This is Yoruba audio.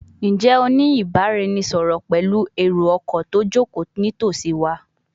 Njẹ o ni ibaraẹnisọrọ pẹlu ero-ọkọ ti o joko nitosi wa?